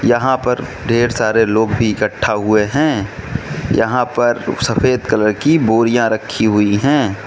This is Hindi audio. यहां पर ढेर सारे लोग भी इकट्ठा हुए हैं यहां पर सफेद कलर की बोरियां रखी हुई हैं।